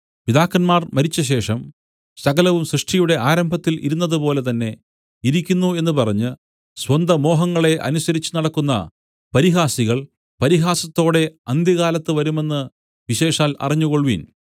പിതാക്കന്മാർ മരിച്ചശേഷം സകലവും സൃഷ്ടിയുടെ ആരംഭത്തിൽ ഇരുന്നതുപോലെ തന്നെ ഇരിക്കുന്നു എന്ന് പറഞ്ഞ് സ്വന്തമോഹങ്ങളെ അനുസരിച്ചുനടക്കുന്ന പരിഹാസികൾ പരിഹാസത്തോടെ അന്ത്യകാലത്ത് വരുമെന്ന് വിശേഷാൽ അറിഞ്ഞുകൊൾവിൻ